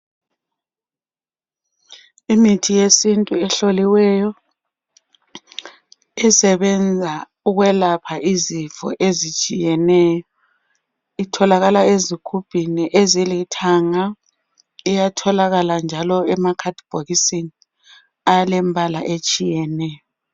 Imithi yesintu ehloliweyo isebenza ukwelapha izifo ezitshiyeneyo. Itholakala ezigubhini ezilithanga uyatholakala njalo emabhokisini alembala etshiyeneyo.